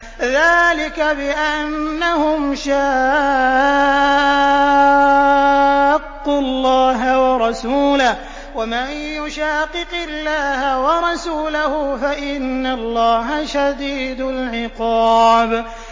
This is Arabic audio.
ذَٰلِكَ بِأَنَّهُمْ شَاقُّوا اللَّهَ وَرَسُولَهُ ۚ وَمَن يُشَاقِقِ اللَّهَ وَرَسُولَهُ فَإِنَّ اللَّهَ شَدِيدُ الْعِقَابِ